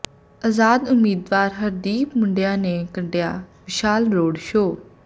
ਅਜ਼ਾਦ ਉਮੀਦਵਾਰ ਹਰਦੀਪ ਮੂੰਡੀਆਂ ਨੇ ਕੱਢਿਆਂ ਵਿਸ਼ਾਲ ਰੋਡ ਸ਼ੋਅ